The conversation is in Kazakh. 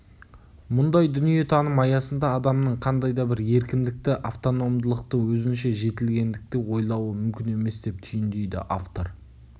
мұндай дүниетаным аясында адамның қандай да бір еркіндікті автономдылықты өзінше жетілгендікті ойлауы мүмкін емес деп түйіндейді автор